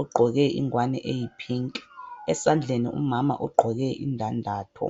ogqoke ingwane eyiphinki. Esandleni umama ugqoke indandatho.